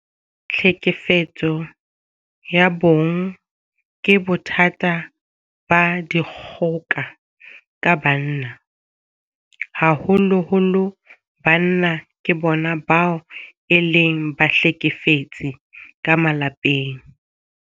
Tlhekefetso ya bong ke bothata ba dikgoka ka banna. Haholoholo banna ke bona bao e leng bahlekefetsi ka malapeng.